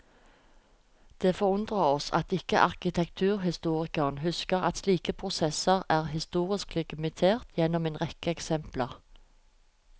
Det forundrer oss at ikke arkitekturhistorikeren husker at slike prosesser er historisk legitimert gjennom en rekke eksempler.